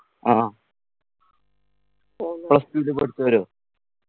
ആ plus two ല് പഠിച്ചവരോ